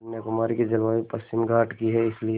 कन्याकुमारी की जलवायु पश्चिमी घाट की है इसलिए